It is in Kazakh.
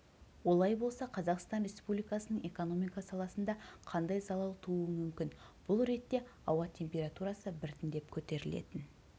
олай болса қазақстан республикасының экономика саласында қандай залал тууы мүмкін бұл ретте ауа температурасы біртіндеп көтерілетін